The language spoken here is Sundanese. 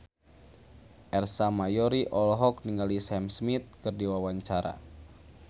Ersa Mayori olohok ningali Sam Smith keur diwawancara